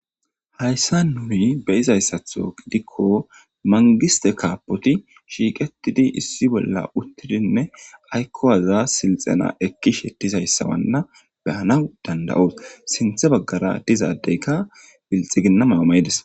Hayssa nuyi beyizayssatho gidikko mangiste kaapoti shiiqetidi issi bolla uttidinne aykkowaza silxena ekkishettizayssawanna behana danda7oos sinthe baggara dizaadeykka bilxiginnama mayides